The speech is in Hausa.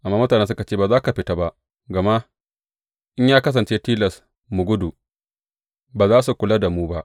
Amma mutanen suka ce, Ba za ka fita ba; gama in ya kasance tilas mu gudu, ba za su kula da mu ba.